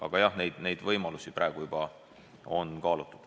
Aga jah, neid võimalusi on juba kaalutud.